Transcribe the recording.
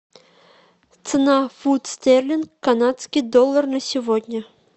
цена фунт стерлинг канадский доллар на сегодня